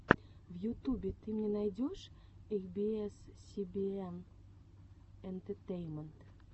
в ютубе ты мне найдешь эй би эс си би эн энтетейнмент